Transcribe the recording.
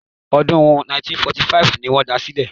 Ọdún 1945 ni wọ́n da sílẹ̀